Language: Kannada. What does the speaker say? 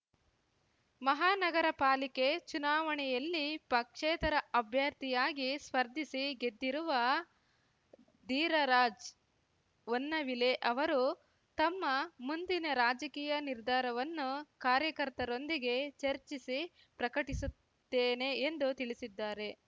ಮಹಾನಗರ ಪಾಲಿಕೆ ಚುನಾವಣೆಯಲ್ಲಿ ಪಕ್ಷೇತರ ಅಭ್ಯರ್ಥಿಯಾಗಿ ಸ್ಪರ್ಧಿಸಿ ಗೆದ್ದಿರುವ ಧೀರರಾಜ್‌ ಹೊನ್ನವಿಲೆ ಅವರು ತಮ್ಮ ಮುಂದಿನ ರಾಜಕೀಯ ನಿರ್ಧಾರವನ್ನು ಕಾರ್ಯಕರ್ತರೊಂದಿಗೆ ಚರ್ಚಿಸಿ ಪ್ರಕಟಿಸುತ್ತೇನೆ ಎಂದು ತಿಳಿಸಿದ್ದಾರೆ